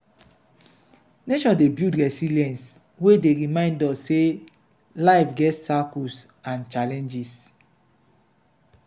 nature dey build resilience wey dey remind us sey life get cycles and challenges.